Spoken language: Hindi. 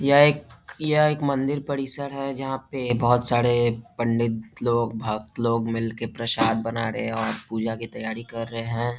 यह एक यह एक मंदिर परिसर है जहाँ पे बहोत सारे पंडित लोग भक्त लोग मिल के प्रसाद बना रहे हैं और पूजा की तैयारी कर रहे हैं ।